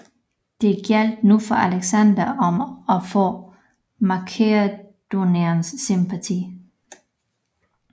Det gjaldt nu for Alexander om at få makedonernes sympati